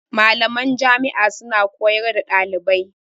Malaman Jami' a suna koyar da ɗalibai